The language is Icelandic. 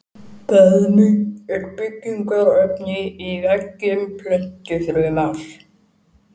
Beðmi er byggingarefni í veggjum plöntufruma.